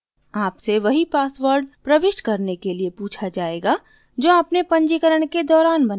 आपसे वही पासवर्ड प्रविष्ट करने के लिए पूछा जायेगा जो आपने पंजीकरण के दौरान बनाया